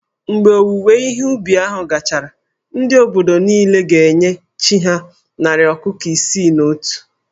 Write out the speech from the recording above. Mgbe owuwe ihe ubi gachara, ndị obodo niile ga-enye chí ha narị ọkụkọ isii na otu